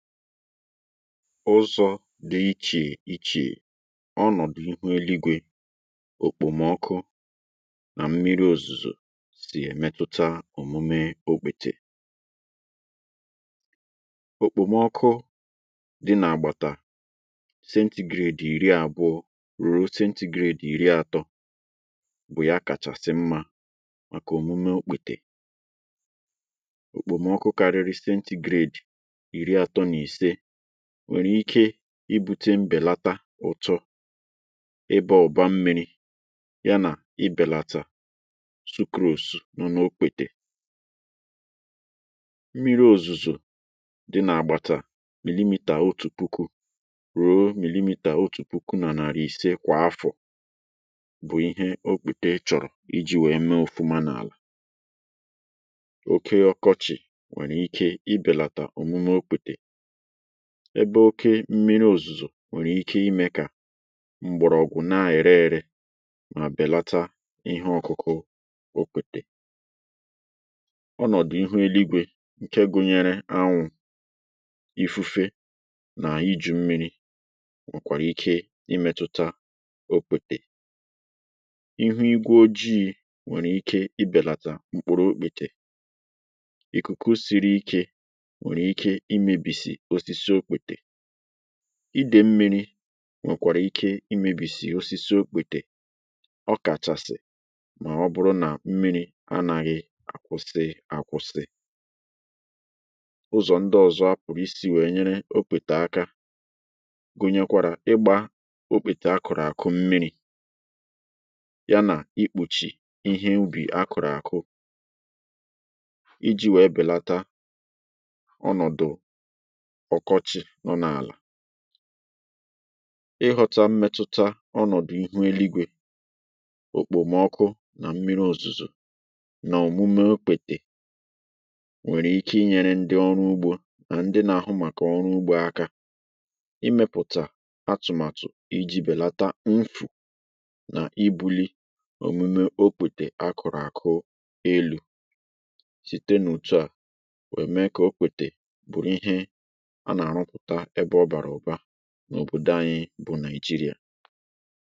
Uzọ̇ dị̀ ichè ichè ọnọ̀dụ̀ ihu eluigwė, okpomọkụ nà mmiri òzùzò sì èmetụta òmume okpètè. Okpòmọkụ dị nà-àgbàta stigrate ìri àbụọ̇ ruo stigrate ìri àtọ bụ̀ ya kàchàsị mmȧ màkà òmume okpètè, okpomọkụ karịrị sentigrade iri atọ na ise nwèrè ike ibu̇tė mbèlata ụ̀tọ ebe ọ̀ba mmi̇ri ya nà i bèlata sukȯsù nọ̀ n’okwètè. Mmiri òzùzù dị nà àgbàtà mmilimita otù puku ruo mmilimita otù puku nà nàri ise kwà afọ̀ bụ̀ ihe okpete chọ̀rọ̀ iji̇ wee mee ofuma n’àlà. Oke ọkọchị̀ nwèrè ike i bèlàtà òmume okwètè ebe oke mmiri òzùzò nwèrè ike imė kà mgbọ̀rọ̀ọgwụ̀ na-èrè ere mà-àbèlata ihe ọ̀kụ̀kụ̀ okwètè. Onọ̀dụ̀ ihu eluigwè ǹke gụnyere anwụ̇, ifufe nà iju̇ mmiri̇ nwèkwàrà ike imėtụ̀ta okwètè, ihu igwe ojii̇ nwèrè ike ibèlàtà mkpuru okwètè, ikuku sịrị ịke nwere imebisi osisi okpètè, idė mmiri nwèkwàrà ike imebìsì osisi okpètè ọ kàchàsì mà ọ bụrụ nà mmiri anȧghị̇ àkwụsị àkwụsi. Uzọ̀ ndị ọ̀zọ apụ̀rụ̀ isi̇ wèe nyere okpètà aka gụnyekwàrà, ịgbȧ okpètè akụ̀rụ̀ àkụ mmiri̇ ya nà ikpòchì ihe mbì akụ̀rụ̀ àkụ iji̇ wèe bèlata ọnọdụ ọ̀kọchị̀ nọ n’àlà, ịghọta mmetuta ọnọ̀dụ̀ ihu eluigwè, òkpòmọkụ nà mmiri òzùzò nà òmume okwètè nwèrè ike inyere ndị ọrụ ugbȯ nà ndị na-àhụ màkà ọrụ ugbȯ aka, imėpụ̀tà atụ̀màtụ̀ iji̇ bèlata nfụ̀ nà ibuli òmume okwètè a kụ̀rụ̀ àkụ elu̇ site nà òtù à, wee ème kà okpètè bụ̀rụ ihe ànà-arụpụta ebe ọbụrụ ibu n’òbòdò anyị bụ̀ Naịjịrịà.